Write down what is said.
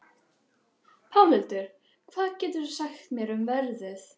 Pálhildur, hvað geturðu sagt mér um veðrið?